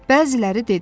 Bəziləri dedi: